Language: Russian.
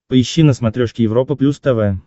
поищи на смотрешке европа плюс тв